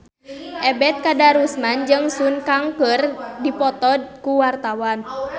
Ebet Kadarusman jeung Sun Kang keur dipoto ku wartawan